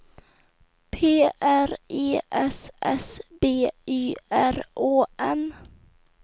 P R E S S B Y R Å N